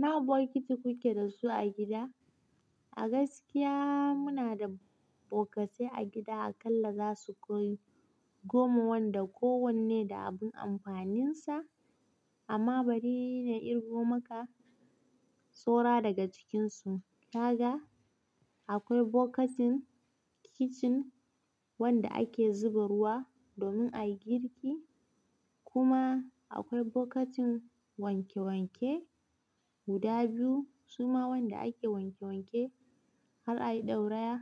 Na bokiti kuke da su a gida? A gaskiya muna da bokatai a gida akalla za su kai goma wanda kowanne da abun amfaninsa amma bari na irgo maka sora daga cikinsu. Ka ga? Akwai bokatin kicin wanda ake zuba ruwa domin a yi girki. Kuma akwai bokatin wanke wanke guda biyu suma wanda ake wanke wanke har a yi ɗauraya.